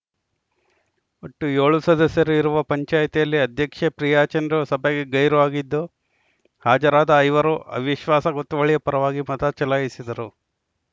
ಒಟ್ಟು ಏಳು ಸದಸ್ಯರು ಇರುವ ಪಂಚಾಯಿತಿಯಲ್ಲಿ ಅಧ್ಯಕ್ಷೆ ಪ್ರಿಯಾ ಚಂದ್ರು ಸಭೆಗೆ ಗೈರು ಆಗಿದ್ದು ಹಾಜರಾದ ಐವರು ಅವಿಶ್ವಾಸ ಗೊತ್ತುವಳಿಯ ಪರವಾಗಿ ಮತ ಚಲಾಯಿಸಿದರು